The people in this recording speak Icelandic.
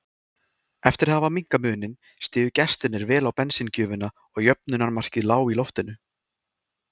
Eftir að hafa minnkað muninn stigu gestirnir vel á bensíngjöfina og jöfnunarmarkið lá í loftinu.